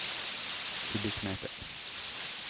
kubikkmeter